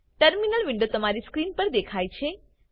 terminal window તમારી screen પર દેખાય છે